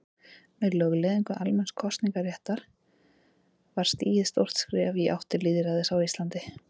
Með lögleiðingu almenns kosningaréttar var stigið stórt skref í átt til lýðræðis á Íslandi.